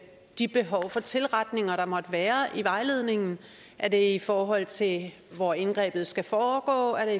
de behov for tilretninger der måtte være i vejledningen er det i forhold til hvor indgrebet skal foregå er